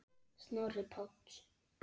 Snorri Páll.